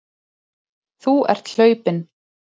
Þú ert hlaupinn.